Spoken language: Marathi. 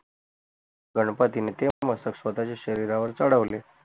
गणपतीने स्वतच्या शरीरावर चढवले